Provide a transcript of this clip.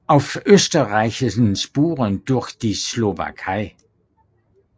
Auf österreichischen Spuren durch die Slowakei